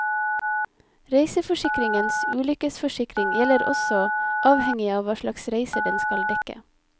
Reiseforsikringens ulykkesforsikring gjelder også, avhengig av hva slags reiser den skal dekke.